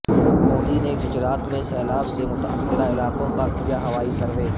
مودی نے گجرات میں سیلاب سے متاثرہ علاقوں کا کیا ہوائی سروے